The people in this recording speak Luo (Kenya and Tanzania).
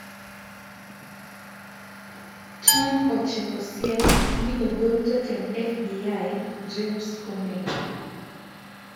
Trump ochiwo siem ni ogol jatend FBI, James Comey,